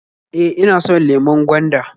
E, ina so .lemon gwanda